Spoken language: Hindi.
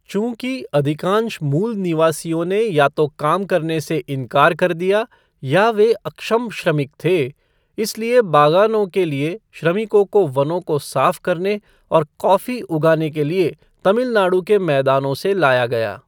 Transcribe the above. चूँकि अधिकांश मूल निवासियों ने या तो काम करने से इनकार कर दिया या वे अक्षम श्रमिक थे, इसलिए बागानों के लिए श्रमिकों को वनों को साफ करने और कॉफ़ी उगाने के लिए तमिल नाडु के मैदानों से लाया गया।